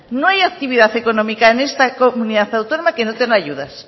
no hay actividad económica en esta comunidad autónoma que no tenga ayudas